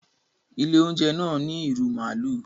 ilé oúnjẹ náa ní irú maalu.